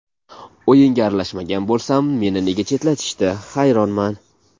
O‘yinga aralashmagan bo‘lsam, meni nega chetlatishdi, hayronman.